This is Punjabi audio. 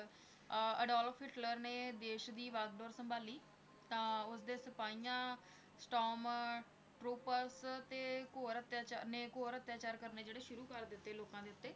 ਅਹ ਅਡੋਲਫ਼ ਹਿਟਲਰ ਨੇ ਦੇਸ਼ ਦੀ ਵਾਂਗਡੋਰ ਸੰਭਾਲੀ ਤਾਂ ਉਸਦੇ ਸਿਪਾਹੀਆਂ ਸਟਾਰਮ ਟਰੁੱਪਰਸ ਤੇ ਘੋਰ ਅਤਿਆਚਾ~ ਨੇ ਘੋਰ ਅਤਿਆਚਾਰ ਕਰਨੇ ਜਿਹੜੇ ਸ਼ੁਰੂ ਕਰ ਦਿੱਤੇ ਲੋਕਾਂ ਦੇ ਉੱਤੇ,